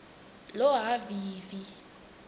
lohhavivi